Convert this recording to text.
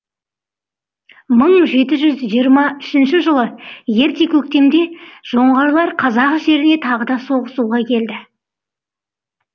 мың жеті жүз жиырма үшінші жылы ерте көктемде жоңғарлар қазақ жеріне тағы да соғысуға келді